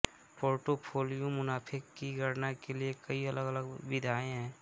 portfolio मुनाफे की गणना के लिए कई अलग अलग विधियां हैं